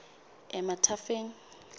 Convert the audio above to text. emathafeng